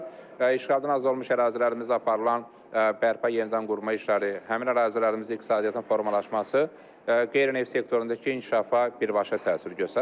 Eyni zamanda işğaldan azad olunmuş ərazilərimizdə aparılan bərpa yenidənqurma işləri, həmin ərazilərimizdə iqtisadiyyatın formalaşması qeyri-neft sektorundakı inkişafa birbaşa təsir göstərir.